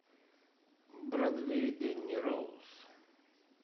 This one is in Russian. бродвей дэнни роуз